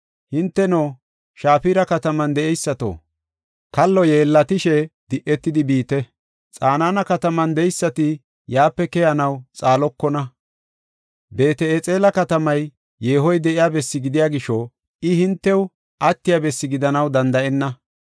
Hinteno, Shafira kataman de7eysato, kallo yeellatishe, di7etidi biite. Xanaana kataman de7eysati yaape keyanaw xaalokona. Beet-Exela katamay yeehoy de7iya bessi gidiya gisho, I hintew attiya bessi gidanaw danda7enna.